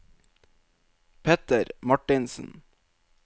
Petter Martinsen